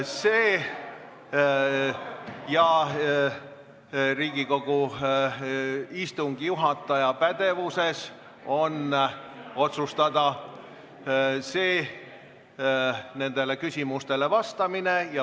Teiseks, Riigikogu istungi juhataja pädevuses on otsustada nendele küsimustele vastamine.